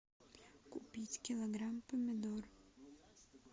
купить килограмм помидор